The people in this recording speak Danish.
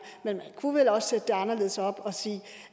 men man kunne vel også sætte det anderledes op og sige